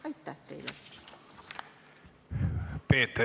Aitäh teile!